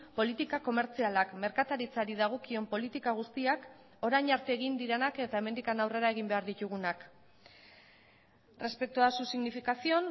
politika komertzialak merkataritzari dagokion politika guztiak orain arte egin direnak eta hemendik aurrera egin behar ditugunak respecto a su significación